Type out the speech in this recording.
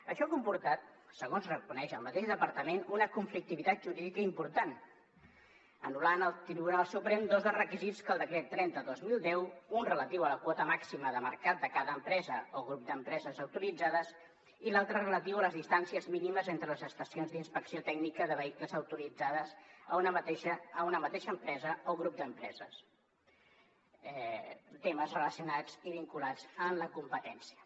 això ha comportat segons reconeix el mateix departament una conflictivitat jurídica important i el tribunal suprem ha anul·lat dos dels requisits del decret trenta dos mil deu un relatiu a la quota màxima de mercat de cada empresa o grup d’empreses autoritzades i l’altre relatiu a les distàncies mínimes entre les estacions d’inspecció tècnica de vehicles autoritzades a una mateixa empresa o grup d’empreses temes relacionats i vinculats amb la competència